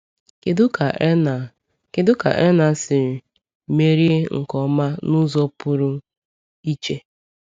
Kedu ka Erna Kedu ka Erna siri merie nke ọma n’ụzọ pụrụ iche?